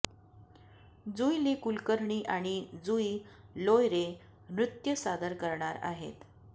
जुईली कुलकर्णी आणि जुई लोयरे नृत्य सादर करणार आहेत